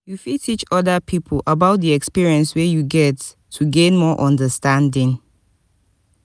you fit teach oda pipo about di experience wey you get to gain more understanding